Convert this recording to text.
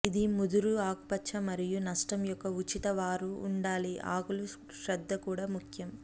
ఇది ముదురు ఆకుపచ్చ మరియు నష్టం యొక్క ఉచిత వారు ఉండాలి ఆకులు శ్రద్ద కూడా ముఖ్యం